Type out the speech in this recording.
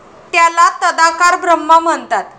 त्याला तदाकार ब्रह्मा म्हणतात.